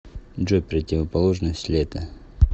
джой противоположность лето